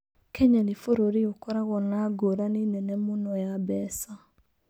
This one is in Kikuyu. Kenya nĩ bũrũri ũkoragwo na ngũrani nene mũno ya mbeca.